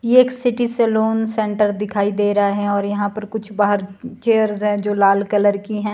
यह एक city salon centre दिखाई दे रहा है और यहां पर कुछ बाहर चेयर है जो लाल कलर की हैं।